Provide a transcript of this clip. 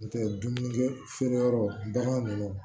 N'o tɛ dumuni feere yɔrɔ ba ninnu